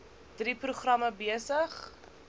drie programme besig